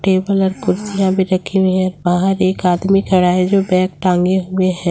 Table और कुर्सियां भी रखी हुई है बाहर एक आदमी खड़ा है जो बैग टांगे हुए है।